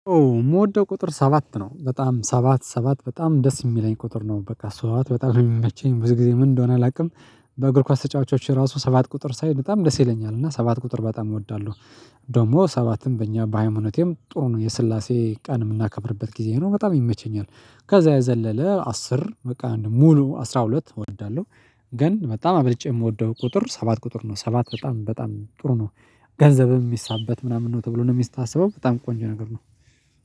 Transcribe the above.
የምወደው ቁጥር ሰባት ነው። በጣም ሰባት ሰባት በጣም ደስ የሚለኝ ቁጥር ነው በቃ፤ ሰባት በጣም የሚመቸኝ ብዙ ጊዜ ምን እንደሆነ አላውቅም በእግር ኳስ ተጫዋቾች ራሱ ሰባት ቁጥር ሳይ በጣም ደስ ይለኛል። እና ሰባት ቁጥር በጣም እወዳለሁ። ደግሞ ሰባትም በእኛ በሃይማኖቴም ጥሩ ነው፤ የስላሴ ቀን የምናከብርበት ጊዜ ነው በጣም ይመቸኛል። ከዛ የዘለለ አስር፤ በቃ ሙሉ አስራ ሁለት እወዳለሁ። ግን በጣም አብልጬ የምወደው ቁጥር ሰባት ቁጥር ነው። ሰባት በጣም በጣም ጥሩ ነው ገንዘብም የሚሳበት ምናምን ነው ተብሎ ነው የሚስታሰበው በጣም ቆንጆ ነገር ነው።